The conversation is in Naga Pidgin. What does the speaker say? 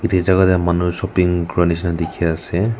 yatae jaka tae manu shopping kura nishina dikhiase.